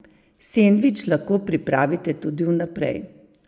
Sendvič lahko pripravite tudi vnaprej!